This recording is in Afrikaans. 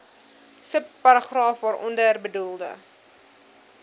subparagraaf waaronder bedoelde